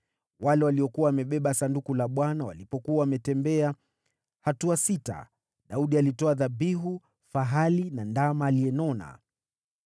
Wale waliokuwa wamebeba Sanduku la Bwana walipokuwa wametembea hatua sita, Daudi alitoa dhabihu fahali na ndama aliyenoneshwa.